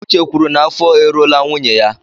Uche kwuru n'afọ e ruola nwunye ya.